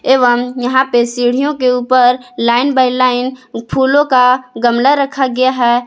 एवं यहां पे सीढ़ियों के ऊपर लाइन बाई लाइन फूलों का गमला रखा गया है।